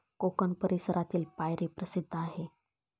कोकण परिसरातील पायरी प्रसिद्ध आहे.